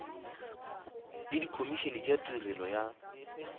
le dikhomišene tša tirelo ya